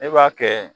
E b'a kɛ